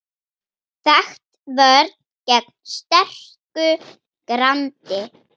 Þekkt vörn gegn sterku grandi.